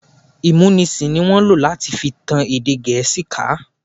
Ìmúnisì ní wọ́n lò láti fi tan èdè Gẹ̀ẹ́sì ká.